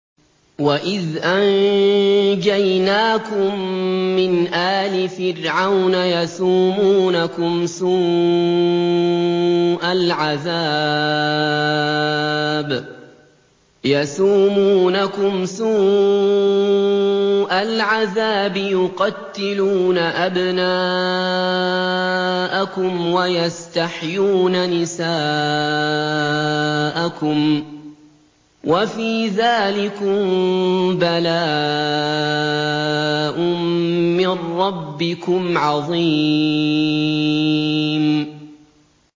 وَإِذْ أَنجَيْنَاكُم مِّنْ آلِ فِرْعَوْنَ يَسُومُونَكُمْ سُوءَ الْعَذَابِ ۖ يُقَتِّلُونَ أَبْنَاءَكُمْ وَيَسْتَحْيُونَ نِسَاءَكُمْ ۚ وَفِي ذَٰلِكُم بَلَاءٌ مِّن رَّبِّكُمْ عَظِيمٌ